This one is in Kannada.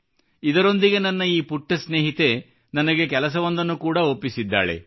ಇದರೊಂದಿಗೆ ನನ್ನ ಈ ಪುಟ್ಟ ಸ್ನೇಹಿತೆ ನನಗೆ ಕೆಲಸವೊಂದನ್ನು ಕೂಡಾ ಒಪ್ಪಿಸಿದ್ದಾಳೆ